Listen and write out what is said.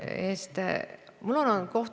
Kokku on see, ütleme, riigi eraldatud summa miljon eurot.